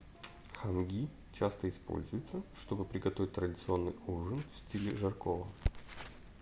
ханги часто используются чтобы приготовить традиционный ужин в стиле жаркого